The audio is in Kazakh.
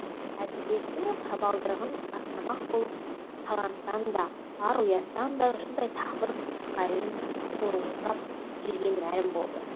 әдебиеттің табалдырығын аттамақ болып таланттан да ар ұяттан да жұрдай тағы бір пысықайдың торуылдап жүргені мәлім болды